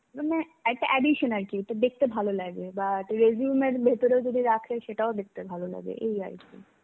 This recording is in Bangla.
মানে, একটা addtion আর কি একটা দেখতে ভালো লাগবে. বা একটা resume এর ভিতরেও যদি রাখে সেটাও দেখতে ভালো লাগে এই আর কি.